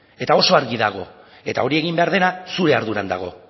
eta oso argi dago eta hori egin behar dena zure arduran dago